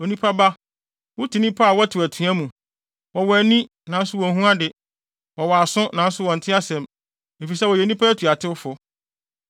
“Onipa ba, wote nnipa a wɔtew atua mu. Wɔwɔ ani nanso wonhu ade, wɔwɔ aso nanso wɔnte asɛm, efisɛ wɔyɛ nnipa atuatewfo.